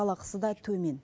жалақысы да төмен